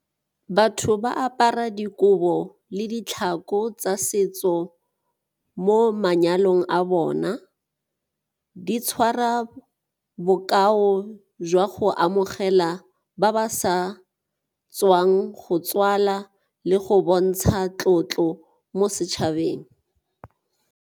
Batho ba apara dikobo le ditlhako tsa setso mo manyalong a bona, di tshwara bokao jwa go amogela ba ba sa tswang go tswala le go bontsha tlotlo mo setšhabeng.